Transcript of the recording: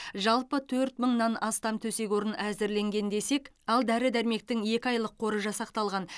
жалпы төрт мыңнан астам төсек орын әзірленген десек ал дәрі дәрмектің екі айлық қоры жасақталған